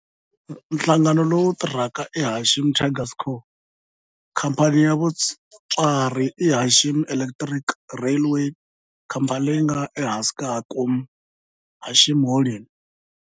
Nhlangano lowu tirhaka i Hanshin Tigers Co., Ltd. Khamphani ya mutswari i Hanshin Electric Railway, khamphani leyi nga ehansi ka Hankyu Hanshin Holdings.